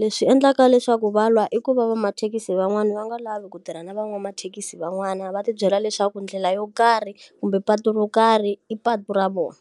Leswi endlaka leswaku va lwa i ku va va mathekisi van'wana va nga lavi ku tirha na van'wamathekisi van'wana va ti byela leswaku ndlela yo karhi, kumbe patu ro karhi i patu ra vona.